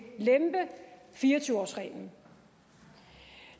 lempe fire og tyve årsreglen